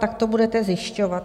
Jak to budete zjišťovat?